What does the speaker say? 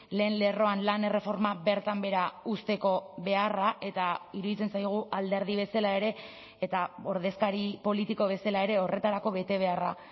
lehen lerroan lan erreforma bertan behera uzteko beharra eta iruditzen zaigu alderdi bezala ere eta ordezkari politiko bezala ere horretarako betebeharra